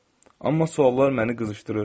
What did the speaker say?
Amma suallar məni qızışdırır.